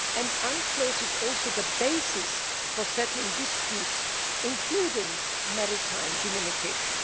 The UNCLOS is also the basis for settling disputes, including maritime delimitation.